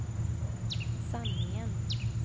sanningen